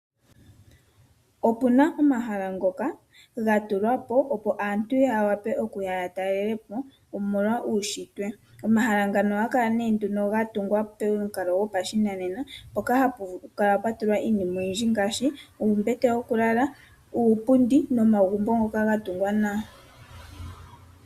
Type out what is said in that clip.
Opu na omahala ngoka ga tulwa po opo aantu ya wape okuya ya talela po okutala uunshitwe. Omahala ngano ohaga kala nduno ga tungwa pomukalo gopashinanena mpoka hapu kala pwa tulwa iinima oyindji ngaashi uumbete wokulala, uupundi nomagumbo ngoka ga tungwa nawa.